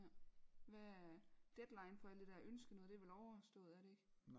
Hvad deadline for alt det dér ønskenoget det er vel overstået er det ikke